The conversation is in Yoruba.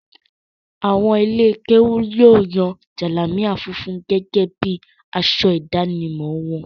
Àwọn ilé-kéú yóò yan jalamia funfun gẹ́gẹ́ bí i aṣọ ìdánimọ̀ wọn.